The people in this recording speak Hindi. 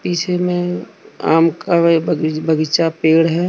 इसी में आम का बगी बगीचा पेड़ है।